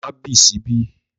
Ma bì síbí!